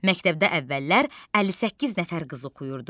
Məktəbdə əvvəllər 58 nəfər qız oxuyurdu.